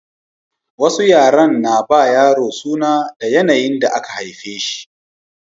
Wasu yaren na ba yaro suna da yanayin da aka haife shi